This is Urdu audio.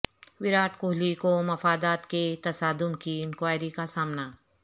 ویرات کوہلی کو مفادات کے تصادم کی انکوائری کا سامنا